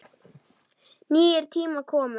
Nýir tímar komu.